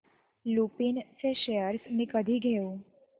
लुपिन चे शेअर्स मी कधी घेऊ